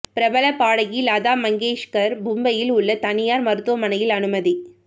பிரபல பாடகி லதா மங்கேஷ்கர் மும்பையில் உள்ள தனியார் மருத்துவமனையில் அனுமதி